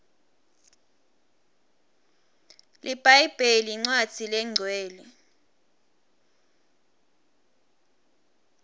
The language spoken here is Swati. libhayibheli incwadzi lenqcwele